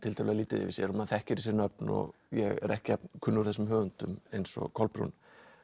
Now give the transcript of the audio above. tiltölulega lítið yfir sér og maður þekkir þessi nöfn og ég er ekki jafn kunnugur þessum höfundum eins og Kolbrún